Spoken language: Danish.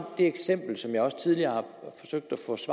det eksempel som jeg også tidligere